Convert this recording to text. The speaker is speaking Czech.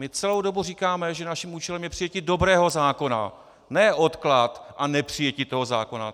My celou dobu říkáme, že naším účelem je přijetí dobrého zákona, ne odklad a nepřijetí toho zákona.